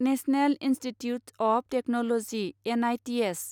national institutes of technology N I T S